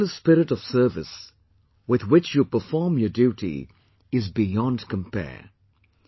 The selfless spirit of service with which you perform your duty is beyond compare